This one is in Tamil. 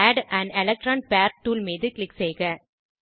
add on electron pair tool மீது க்ளிக் செய்க